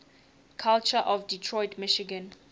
culture of detroit michigan